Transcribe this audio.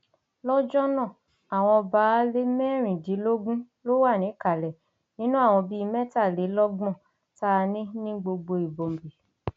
lọjọ náà àwọn baálé mẹrìndínlógún ló wà níkàlẹ nínú àwọn bíi mẹtàlélọgbọn tá a ní ní gbogbo imobi